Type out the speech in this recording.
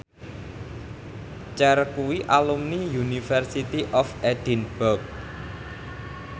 Cher kuwi alumni University of Edinburgh